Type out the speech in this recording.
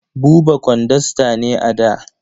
Buba kwandasta ne a da.